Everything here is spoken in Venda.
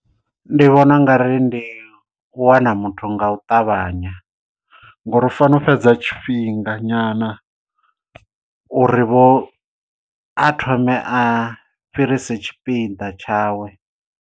Ndi vhona u nga ri ndi u wana muthu nga u ṱavhanya ngori u fanela u fhedza tshifhinga nyana uri vho a thome a fhirise tshipiḓa tshawe.